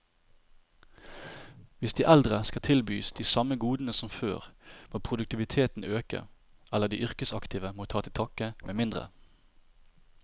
Hvis de eldre skal tilbys de samme godene som før, må produktiviteten øke, eller de yrkesaktive må ta til takke med mindre.